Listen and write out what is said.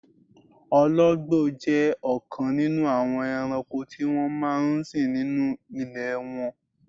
Ọlọ́gbò jẹ́ ọkan nínú àwọn èrànko ti wọn máa n sìn nínú ilẹ̀ wọn.